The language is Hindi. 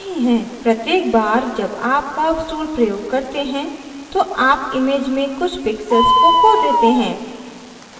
प्रत्येक बार जब आप curves tool प्रयोग करते हैं तो आप image में कुछ pixels को खो देते हैं